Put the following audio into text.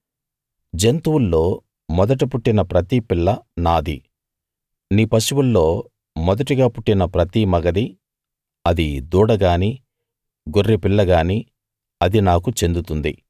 జంతువుల్లో మొదట పుట్టిన ప్రతి పిల్ల నాది నీ పశువుల్లో మొదటిగా పుట్టిన ప్రతి మగది అది దూడ గానీ గొర్రెపిల్ల గానీ అది నాకు చెందుతుంది